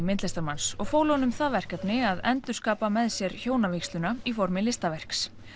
myndlistarmanns og fólu honum það verkefni að endurskapa með sér hjónavígsluna í formi listaverks